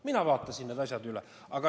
Mina vaatasin need asjad üle.